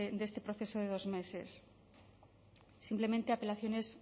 de este proceso de dos meses simplemente apelaciones